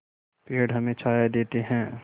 पेड़ हमें छाया देते हैं